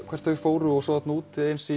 hvert þau fóru og svo þarna úti eins